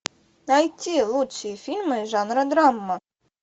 найти лучшие фильмы жанра драма